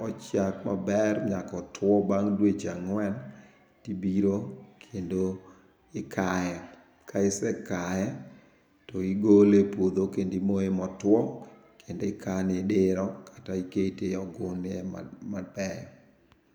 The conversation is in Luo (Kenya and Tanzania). ochiek maber nyaka otwo bang' dweche ang'wen, tibiro kendo ikaye. Ka isekaye to igole ipuodho kendi imoyo motuo, kendo ikane e dero kata ikete ogunde mabeyo.